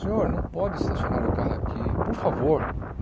Senhor, não pode estacionar o carro aqui, por favor